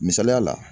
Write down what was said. Misaliya la